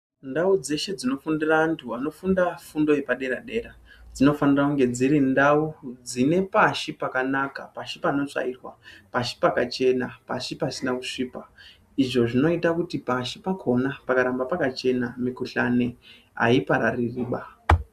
Ndau dzeshe dzinofundira vantu vanofunda fundo yepadera dera, dzinofanira kunge dziri ntau dzine pashi pakanaka, pashi panotsvairwa, pashi pakachena, pashi pasina kusvipa, izvo zvinoita kuti pashi pakhona pakaramba pakachena, mikhuhlani haiparaririba.